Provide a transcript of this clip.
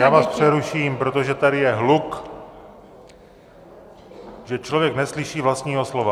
Já vás přeruším, protože tady je hluk, že člověk neslyší vlastního slova.